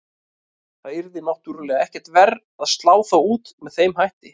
Það yrði náttúrulega ekkert verra að slá þá út með þeim hætti.